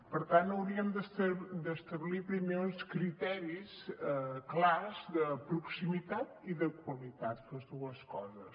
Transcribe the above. per tant hauríem d’establir primer uns criteris clars de proximitat i de qualitat les dues coses